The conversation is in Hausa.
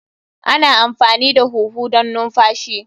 Ana amfani da huhu don numfashi.